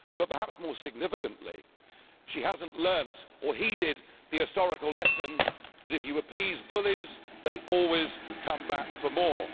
But perhaps more significantly, she hasn't learned or heeded the historical lesson that if you appease bullies, they always come back for more.